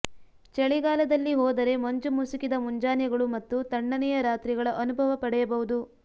ಚಳಿಗಾಲದಲ್ಲಿ ಹೋದರೆ ಮಂಜು ಮುಸುಕಿದ ಮುಂಜಾನೆಗಳು ಮತ್ತು ತಣ್ಣನೆಯ ರಾತ್ರಿಗಳ ಅನುಭವ ಪಡೆಯಬಹುದು